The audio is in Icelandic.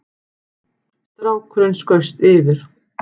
Strákurinn skaust yfir